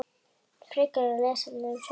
Frekara lesefni um sólina